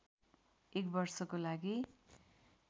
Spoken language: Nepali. एक वर्षको लागि